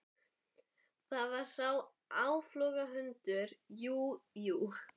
Það var sá áflogahundur, jú, jú.